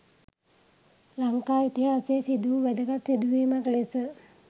ලංකා ඉතිහාසයේ සිදු වූ වැදගත් සිදුවීමක් ලෙස